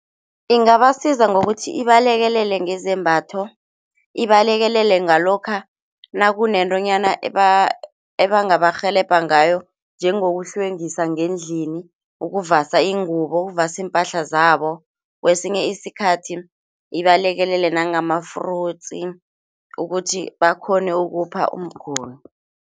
Ingabasiza ngokuthi ibalekelele ngezembatho. Ibalekelele ngalokha nakunentonyana ebangabarhelebha ngayo, njengokuhlwengisa ngendlini, ukuvasa iingubo ukuvasa iimpahla zabo, kwesinye isikhathi ibalekelele nangama-fruits ukuthi bakghone ukupha umguli.